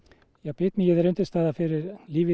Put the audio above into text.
bitmýið er undirstaða fyrir lífið í